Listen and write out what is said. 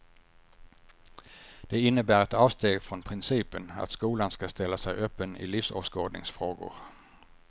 Det innebär ett avsteg från principen att skolan ska ställa sig öppen i livsåskådningsfrågor.